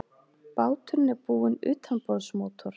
Báturinn er búinn utanborðsmótor